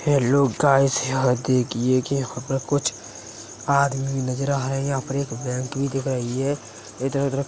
Hello guys ! यहां देखिये कि यहां पर कुछ आदमी नज़र आ रहे है। यहां पर एक बैंक भी दिखाई है। इधर उधर --